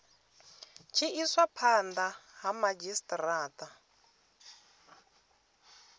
tshi iswa phanda ha madzhisitarata